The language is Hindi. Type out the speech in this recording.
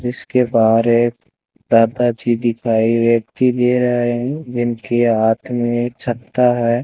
जिसके बाहर एक दादाजी दिखाई व्यक्ति दे रहा है जिनके हाथ में छत्ता है।